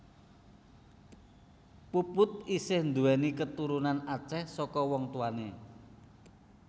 Puput isih nduwéni katurunan Aceh saka wong tuwané